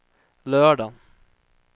lördagen